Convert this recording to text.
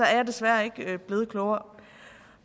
jeg desværre ikke blevet klogere